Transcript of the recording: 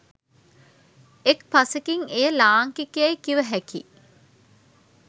එක් පසෙකින් එය ලාංකික යැයි කිවහැකි